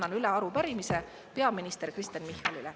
Annan üle arupärimise peaminister Kristen Michalile.